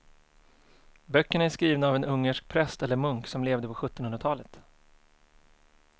Böckerna är skrivna av en ungersk präst eller munk som levde på sjuttonhundratalet.